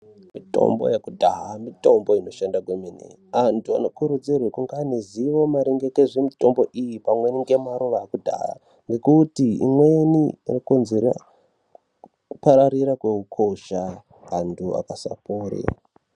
Mitombo yekudhaya mitombo inoshanda kwemene, anthu ano kurudzirwa kunga ane ziwo maringe ngezve mitombo iyi, pamweni ngemaruwa ekudhaya. Ngekuti imweni ino konzere kupararira kwehukosha, vanthu vakasapore.